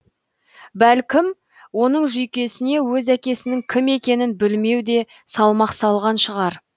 бәлкім оның жүйкесіне өз әкесінің кім екенін білмеу де салмақ салған шығар